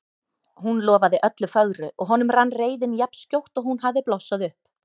Hún lofaði öllu fögru og honum rann reiðin jafn skjótt og hún hafði blossað upp.